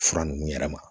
Fura nunnu yɛrɛ ma